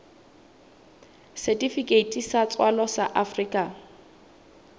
setifikeiti sa tswalo sa afrika